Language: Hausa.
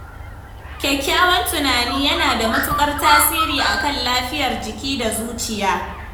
Kyakkyawan tunani yana da matukar tasiri akan lafiyar jiki da zuciya.